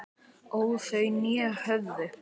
óð þau né höfðu